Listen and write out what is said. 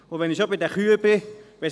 Und wenn ich schon bei den Kühen bin: